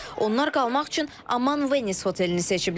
Onlar qalmaq üçün Aman Venice otelini seçiblər.